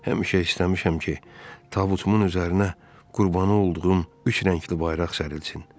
Həmişə istəmişəm ki, tabutumun üzərinə qurbanı olduğum üç rəngli bayraq sərilsin.